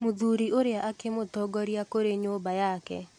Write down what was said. Mũthuri ũrĩa akĩmũtongoria kũrĩ nyũmba yake.